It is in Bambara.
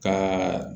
Ka